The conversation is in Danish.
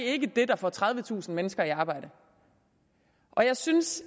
ikke det der får tredivetusind mennesker i arbejde og jeg synes